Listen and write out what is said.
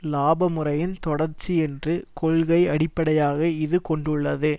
இலாப முறையின் தொடர்ச்சி என்ற கொள்கை அடிப்படையாக இது கொண்டுள்ளது